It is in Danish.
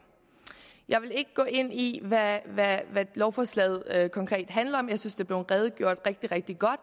jeg vil ikke gå ind i hvad hvad lovforslaget konkret handler om jeg synes er blevet redegjort rigtig godt